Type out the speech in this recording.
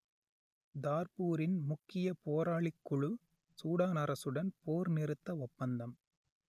தார்பூரின் முக்கிய போராளிக்குழு சூடான் அரசுடன் போர்நிறுத்த ஒப்பந்தம்